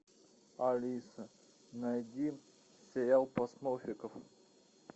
алиса найди сериал про смурфиков